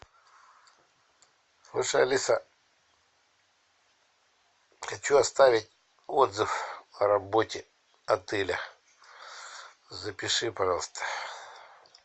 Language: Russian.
слушай алиса хочу оставить отзыв о работе отеля запиши пожалуйста